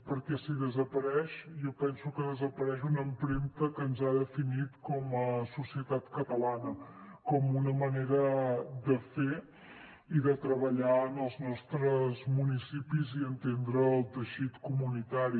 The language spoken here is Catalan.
perquè si desapareix jo penso que desapareix una empremta que ens ha definit com a societat catalana com una manera de fer i de treballar en els nostres municipis i entendre el teixit comunitari